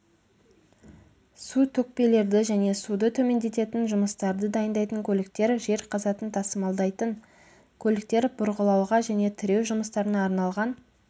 су төкпелерді және суды төмендететін жұмыстарды дайындайтын көліктер жер қазатын тасымалдайтын көліктер бұрғылауға және тіреу жұмыстарына арналған